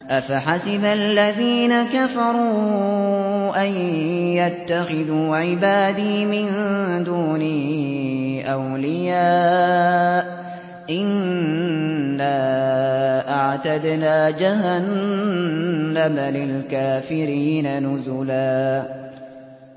أَفَحَسِبَ الَّذِينَ كَفَرُوا أَن يَتَّخِذُوا عِبَادِي مِن دُونِي أَوْلِيَاءَ ۚ إِنَّا أَعْتَدْنَا جَهَنَّمَ لِلْكَافِرِينَ نُزُلًا